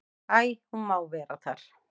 Æi, hún má vera þar.